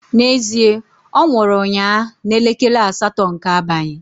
Na ezie, onwuru unnya na elekele asato nke abanyi